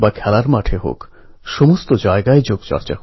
কেননা এটাই হচ্ছে সেই সময় যখন কলেজগুলির জন্য পিক সেশন